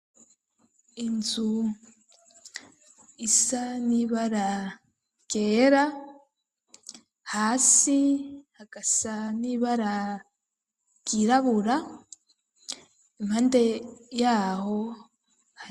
Inzu isa n'ibara ryera, hasi hagasa n'ibara ryirabura impande yaho.